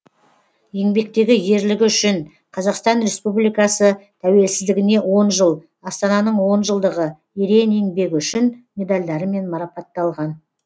еңбектегі ерлігі үшін қазақстан республикасы тәуелсіздігіне он жыл астананың он жылдығы ерен еңбегі үшін медальдарымен марапатталған